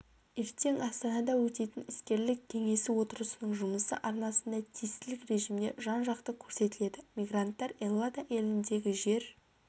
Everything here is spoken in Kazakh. ертең астанада өтетін іскерлік кеңесі отырысының жұмысы арнасында тестілік режимде жан-жақты көрсетіледі мигранттар эллада еліндегі жер